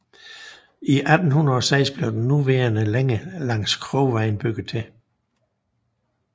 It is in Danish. I 1806 blev den nuværende længe langs Krovej bygget til